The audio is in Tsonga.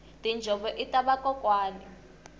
tinjhovo ita vakokwani